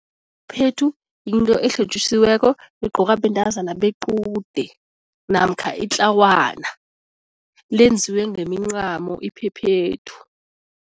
Phethu yinto elihlotjisiweko egqokwa bentazana bequde namkha itlawana, lenziwe ngemincamo iphephethu.